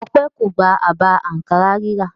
Ọpẹ́ kò gba àbá àǹkárá rírà.